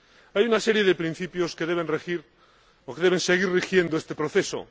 Hay una serie de principios que deben regir, o deben seguir rigiendo, este proceso.